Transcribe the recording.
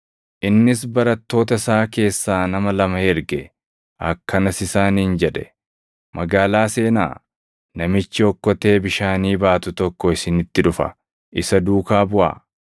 Innis barattoota isaa keessaa nama lama erge; akkanas isaaniin jedhe; “Magaalaa seenaa; namichi okkotee bishaanii baatu tokko isinitti dhufa; isa duukaa buʼaa.